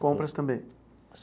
Compras também?